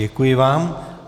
Děkuji vám.